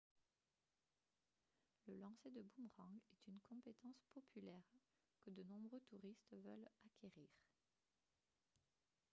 le lancer de boomerang est une compétence populaire que de nombreux touristes veulent acquérir